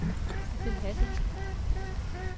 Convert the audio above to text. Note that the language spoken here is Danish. Sidsel Hassan